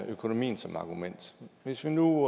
økonomien som argument hvis vi nu